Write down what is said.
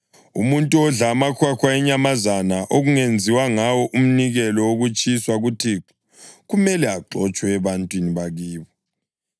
Umuntu odla amahwahwa enyamazana okungenziwa ngayo umnikelo wokutshiswa kuThixo kumele axotshwe ebantwini bakibo.